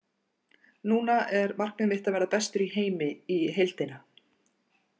Núna er markmið mitt að verða bestur í heimi í heildina.